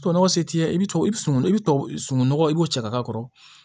Tubabunɔgɔ se t'i ye i bɛ sunungun sununkun nɔgɔ i b'o cɛ ka k'a kɔrɔ